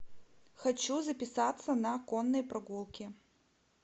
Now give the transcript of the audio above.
хочу записаться на конные прогулки